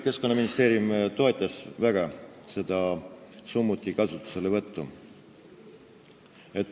Keskkonnaministeerium toetas väga summutite kasutuselevõttu.